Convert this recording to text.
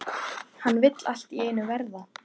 Hann vill allt í einu verða